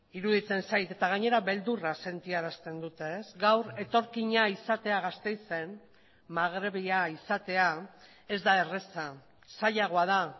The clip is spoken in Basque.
iruditzen zait eta gainera beldurra sentiarazten dute gaur etorkina izatea gasteizen magrebia izatea ez da erraza zailagoa da